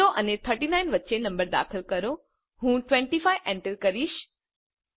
0 અને 39 વચ્ચે નંબર દાખલ કરો હું 25 એન્ટર કરીશ